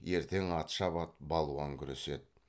ертең ат шабады балуан күреседі